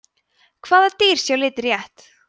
hvaða dýr sjá liti rétt